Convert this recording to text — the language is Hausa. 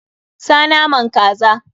Sa naman kaza!